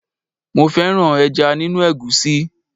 Mo fẹ́ràn ẹja nínú egusi.